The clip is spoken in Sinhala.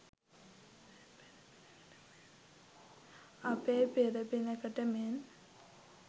අපේ පෙර පිනකට මෙන්